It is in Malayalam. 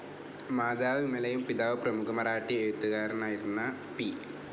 മോത്തർ വിമലയും പിതാവ് പ്രമുഖ മറാഠി എഴുത്തുകാരനായിരുന്ന പി.